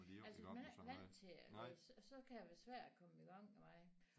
Altså hvis man ikke vant til at læse så kan det være svært at komme i gang med det